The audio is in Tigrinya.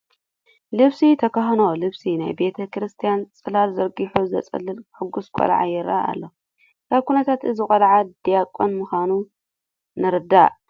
ልብሰ ተክህኖ ለቢሱ ናይ ቤተ ክርስቲያን ፅላል ዘርጊሑ ዘፅለለ ሕጉስ ቆልዓ ይርአ ኣሎ፡፡ ካብ ኩነታቱ እዚ ቆልዓ ዲያቆን ምዃኑ ንርዳእ፡፡